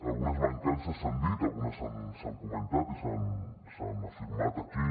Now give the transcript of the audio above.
algunes mancances s’han dit algunes s’han comentat i s’han afirmat aquí